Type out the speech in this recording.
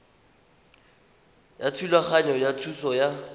ya thulaganyo ya thuso ya